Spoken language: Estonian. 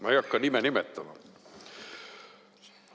Ma ei hakka nime nimetama.